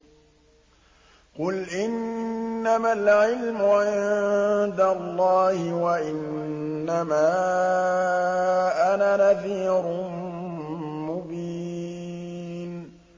قُلْ إِنَّمَا الْعِلْمُ عِندَ اللَّهِ وَإِنَّمَا أَنَا نَذِيرٌ مُّبِينٌ